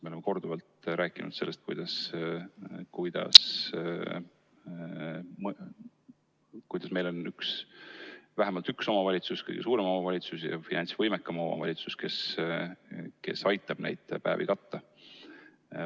Me oleme korduvalt rääkinud sellest, et meil on üks, vähemalt üks omavalitsus, kõige suurem omavalitsus ja finantsiliselt võimekas omavalitsus, kes aitab neid päevi katta.